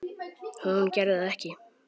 Hún gerði það ekki.